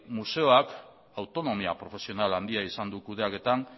museoak autonomia profesionala handia izan du kudeaketan